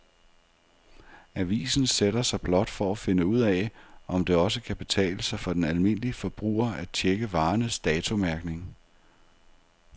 Avisen sætter sig blot for at finde ud af, om det også kan betale sig for den almindelige forbruger at checke varernes datomærkning.